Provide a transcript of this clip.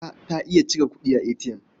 Marka ta iya cire kuɗi a ATM.